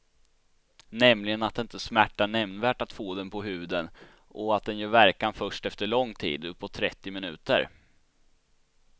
Nämligen att det inte smärtar nämnvärt att få den på huden och att den gör verkan först efter lång tid, uppåt trettio minuter.